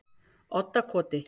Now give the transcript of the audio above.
Oddakoti